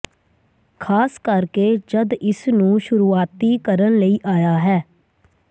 ਖ਼ਾਸ ਕਰਕੇ ਜਦ ਇਸ ਨੂੰ ਸ਼ੁਰੂਆਤੀ ਕਰਨ ਲਈ ਆਇਆ ਹੈ